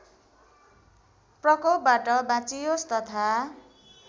प्रकोपबाट बाँचियोस् तथा